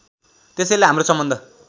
त्यसैले हाम्रो सम्बन्ध